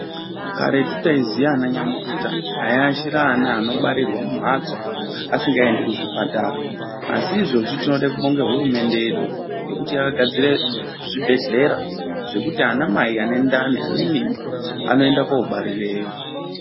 Karetu taiziya ana nyamukuta aiashira ana anobarirwa mumhatso asingaendi kuzvipatara, asi izvozvi tinode kubonga hurumende yedu nekuti yakagadzire zvibhedhlera zvekuti ana mai ane ndani ane mimba anoenda koobarireyo.